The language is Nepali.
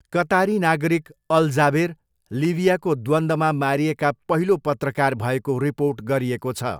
कतारी नागरिक अल जाबेर लिबियाको द्वन्द्वमा मारिएका पहिलो पत्रकार भएको रिपोर्ट गरिएको छ।